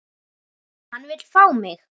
Hann vill fá mig.